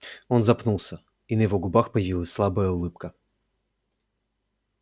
он запнулся и на его губах появилась слабая улыбка